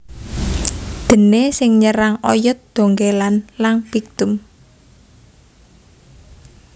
Déné sing nyerang oyot dhongkèlan lan phyctum